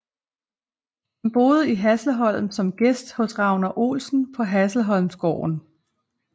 Han boede i Hässleholm som gæst hos Ragnar Olson på Hässleholmsgården